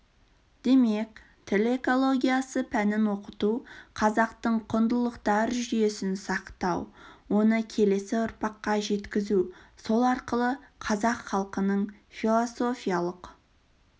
демек тіл экологиясы пәнін оқыту қазақтың құндылықтар жүйесін сақтау оны келесі ұрпаққа жеткізу сол арқылы қазақ халқының философиялық